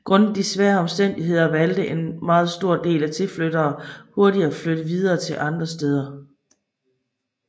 Grundet de svære omstændigheder valgte en meget stor del tilflyttere hurtigt at flytte videre til andre steder